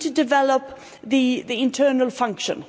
We need to develop the internal function.